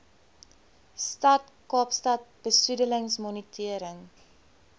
stad kaapstad besoedelingsmonitering